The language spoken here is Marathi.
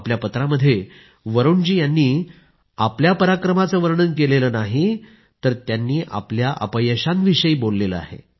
आपल्या पत्रात वरुण जी यांनी आपल्या पराक्रमाचे वर्णन केलेले नही तर आपल्या अपयशांविषयी ते बोलले आहेत